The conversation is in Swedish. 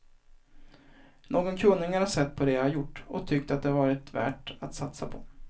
Någon kunnig har sett på det jag gjort och tyckt att det varit värt att satsa på.